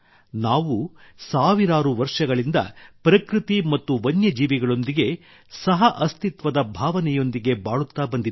ನಾವು ಸಾವಿರಾರು ವರ್ಷಗಳಿಂದ ಪ್ರಕೃತಿ ಮತ್ತು ವನ್ಯಜೀವಿಗಳೊಂದಿಗೆ ಸಹಅಸ್ತಿತ್ವದ ಭಾವನೆಯೊಂದಿಗೆ ಬಾಳುತ್ತಾ ಬಂದಿದ್ದೇವೆ